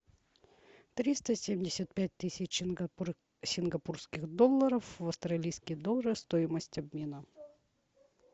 триста семьдесят пять тысяч сингапурских долларов в австралийские доллары стоимость обмена